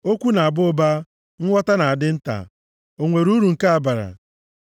Okwu na-aba ụba, nghọta na-adị nta. O nwere uru nke a bara?